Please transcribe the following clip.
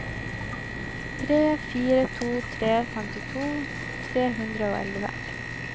tre fire to tre femtito tre hundre og elleve